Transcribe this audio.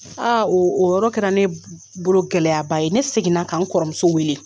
O o yɔrɔ kɛra ne bo bolo gɛlɛya ba ye, ne seginna k'an kɔrɔmuso wele.